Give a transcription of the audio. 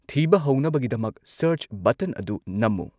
ꯊꯤꯕ ꯍꯧꯅꯕꯒꯤꯗꯃꯛ ꯁꯔꯆ ꯕꯇꯟ ꯑꯗꯨ ꯅꯝꯃꯨ꯫